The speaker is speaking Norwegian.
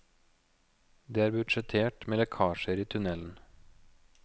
Det er budsjettert med lekkasjer i tunnelen.